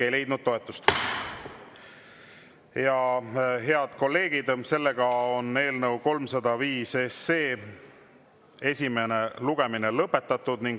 Head kolleegid, eelnõu 305 esimene lugemine on lõpetatud.